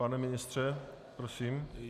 Pane ministře, prosím?